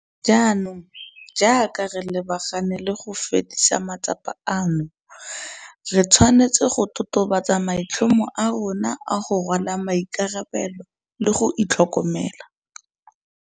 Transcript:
Jaanong jaaka re lebagane le go fedisa matsapa ano, re tshwanetse go totobatsa maitlhomo a rona a go rwala maikarabelo le go itlhokomela.